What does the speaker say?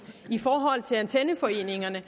i forhold til antenneforeningerne